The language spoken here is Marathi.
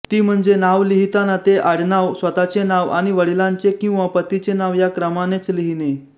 ती म्हणजे नाव लिहिताना ते आडनांव स्वतःचे नाव आणि वडिलांचेकिंवा पतीचे नाव या क्रमानेच लिहिणे